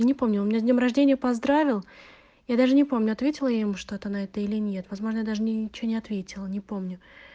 не помню он меня с днём рождения поздравил я даже не помню ответила ему что-то на это или нет возможно я даже ничего не ответила не помню